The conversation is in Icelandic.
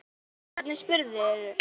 Vá, hvernig spyrðu?